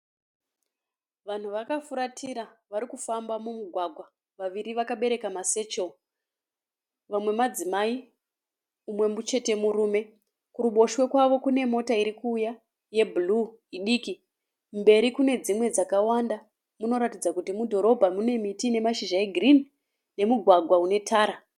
Vanhu vakafuratira vari kufamba mumugwagwa vaviri vakabereka masechero, vamwe madzimai umwe chete murume kuruboshwe kwavo kune mota iri kuuya yebhuruu idiki, kumberi kune dzimwe dzakawanda munoratidza kuti mudhorobha mune miti ine mashizha egirini nemugwagwa une tara.